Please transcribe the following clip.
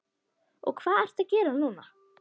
Og hvað ertu að gera núna?